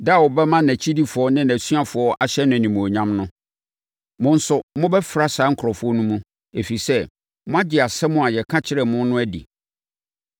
da a ɔbɛma nʼakyidifoɔ ne nʼasuafoɔ ahyɛ no animuonyam no. Mo nso, mobɛfra saa nkurɔfoɔ no mu, ɛfiri sɛ, moagye asɛm a yɛka kyerɛɛ mo no adi.